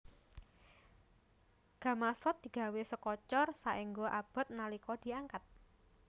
Gamasot digawé saka cor saéngga abot nalika diangkat